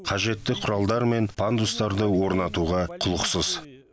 қажетті құралдар мен пандустарды орнатуға құлықсыз